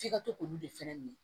F'i ka to k'olu de fɛnɛ minɛ